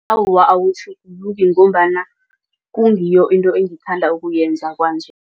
Awa, awutjhuguluki ngombana kungiyo into engithanda ukuyenza kwanje.